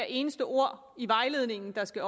eneste ord i vejledningen der skal